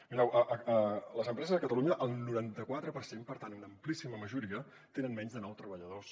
mireu les empreses a catalunya el noranta quatre per cent per tant una amplíssima majoria tenen menys de nou treballadors